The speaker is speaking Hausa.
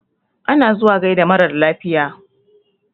Ana zuwa gaida marar lafiya.